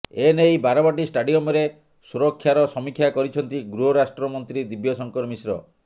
ଏ ନେଇ ବାରବାଟୀ ଷ୍ଟାଡ଼ିୟମରେ ସୁରକ୍ଷାର ସମୀକ୍ଷା କରିଛନ୍ତି ଗୃହରାଷ୍ଟ୍ର ମନ୍ତ୍ରୀ ଦିବ୍ୟଶଙ୍କର ମିଶ୍ର